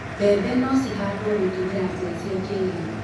mbembe no cihandũo gũtũmira njĩra cia kĩrĩu